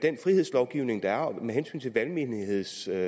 frihedslovgivning der er og med hensyn til valgmenighedsloven